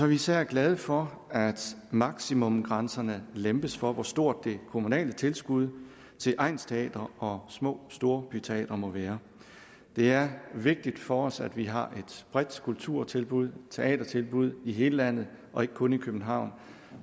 vi især glade for at maksimumgsrænserne lempes for hvor stort det kommunale tilskud til egnsteatre og små storbyteatre må være det er vigtigt for os at vi har et bredt kulturtilbud teatertilbud i hele landet og ikke kun i københavn